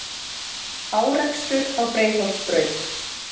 Árekstur á Breiðholtsbraut